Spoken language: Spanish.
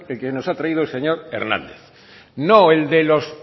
que nos ha traído el señor hernández no el de los